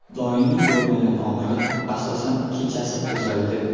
Doimiy bo‘lmagan og‘riq asosan kechasi qo‘zg‘aydi.